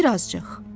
Bir azcıq.